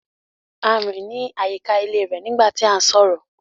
A rin ni ayíkà ilẹ̀ rẹ nígbà tí à n sọrọ.